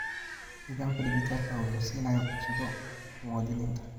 Nidaamka dhijitaalka ah wuxuu siinayaa fursado muwaadiniinta.